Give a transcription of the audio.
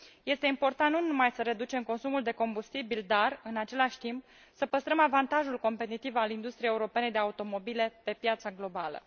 Este important nu numai să reducem consumul de combustibil, dar, în același timp, să păstrăm avantajul competitiv al industriei europene de automobile pe piața globală.